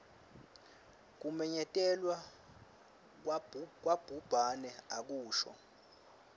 kumenyetelwa kwabhubhane akusho